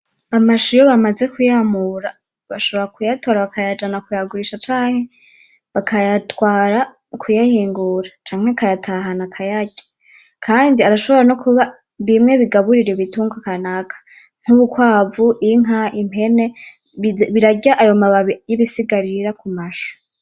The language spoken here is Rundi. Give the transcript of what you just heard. Amashu iyo bamaze kuyamura bashobora kuyatora bakayajana kuyagurisha canke bakayatwara kuyahingura canke akayatahana akayarya, kandi arashobora no kuba bimwe bigaburira ibitungwa kanaka nk'urukwavu, inka, impene birarya ayo mabi y'ibisigarira ku mashu.